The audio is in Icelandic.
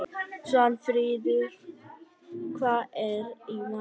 Svanfríður, hvað er í matinn?